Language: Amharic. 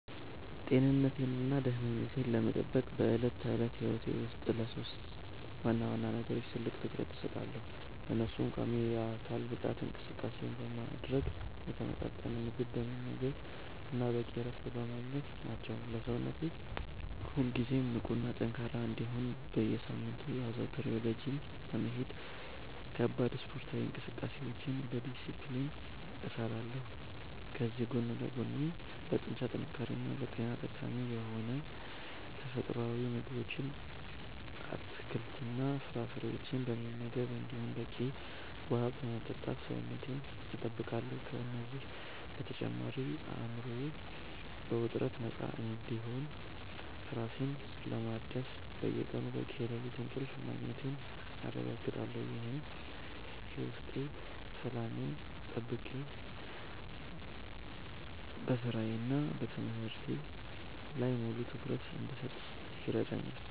ጤንነቴንና ደህንነቴን ለመጠበቅ በዕለት ተዕለት ሕይወቴ ውስጥ ለሦስት ዋና ዋና ነገሮች ትልቅ ትኩረት እሰጣለሁ፤ እነሱም ቋሚ የአካል ብቃት እንቅስቃሴ ማድረግ፣ የተመጣጠነ ምግብ መመገብ እና በቂ እረፍት ማግኘት ናቸው። ሰውነቴ ሁልጊዜ ንቁና ጠንካራ እንዲሆን በየሳምንቱ አዘውትሬ ወደ ጂም በመሄድ ከባድ ስፖርታዊ እንቅስቃሴዎችን በዲስፕሊን እሰራለሁ፤ ከዚህ ጎን ለጎንም ለጡንቻ ጥንካሬና ለጤና ጠቃሚ የሆኑ ተፈጥሯዊ ምግቦችን፣ አትክልትና ፍራፍሬዎችን በመመገብ እንዲሁም በቂ ውሃ በመጠጣት ሰውነቴን እጠብቃለሁ። ከእነዚህ በተጨማሪ አእምሮዬ ከውጥረት ነፃ እንዲሆንና ራሴን ለማደስ በየቀኑ በቂ የሌሊት እንቅልፍ ማግኘቴን አረጋግጣለሁ፤ ይህም የውስጥ ሰላሜን ጠብቄ በሥራዬና በትምህርቴ ላይ ሙሉ ትኩረት እንድሰጥ ይረዳኛል።